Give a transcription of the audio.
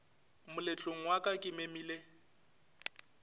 moletlong wa ka ke memile